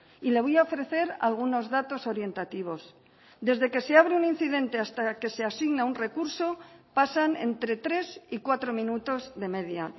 y le voy a ofrecer algunos datos orientativos desde que se abre un incidente hasta que se asigna un recurso pasan entre tres y cuatro minutos de media